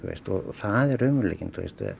það er raunveruleikinn